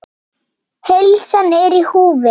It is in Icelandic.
Heilsan er í húfi.